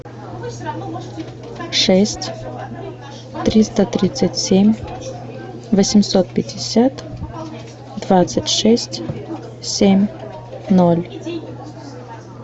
шесть триста тридцать семь восемьсот пятьдесят двадцать шесть семь ноль